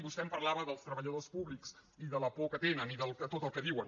vostè em parlava dels treballadors públics de la por que tenen i de tot el que diuen